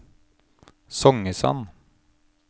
Songesand